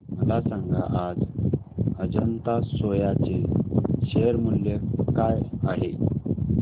मला सांगा आज अजंता सोया चे शेअर मूल्य काय आहे